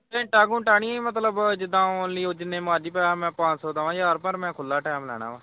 ਘੰਟਾ ਘੁੰਟਾ ਨੀ ਮਤਲਬ ਜਿੱਦਾ ਓਹ ਜਿੰਨੇ ਮਰਜੀ ਭਰਾ ਮੈਂ ਪੰਜ ਸੌ ਦਵਾ ਹਜਾਰ ਪਰ ਮੈਂ ਖੁੱਲਾ time ਲੈਣਾ ਵਾ।